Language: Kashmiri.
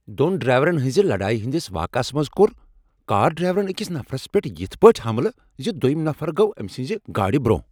دۄن ڈراییورن ہٕنز لڑٲیۍ ہندِس واقعس منٛز کوٚر کار ڈرائیورن أکس نفرس صرف یتھ کتھِ پیٹھ حملہٕ زِ دویم نفر گوٚو أمۍ سٕنٛز گاڑِ برۄنہہ۔